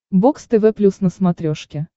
бокс тв плюс на смотрешке